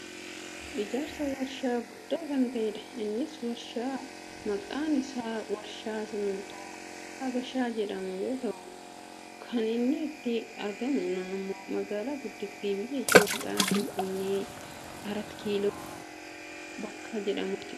Ijaarsa waarshaa guddaa kan ta'edha. Innis waarshaa maqaan isaa "waarshaa simmintoo Habashaa " jedhamu yoo ta'u , kan inni itti argamu ammoo magaalaa guddittii biyya Itoopiyaa Finfinnee arat kiiloo bakka jedhamuttidha.